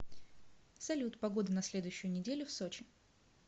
салют погода на следующую неделю в сочи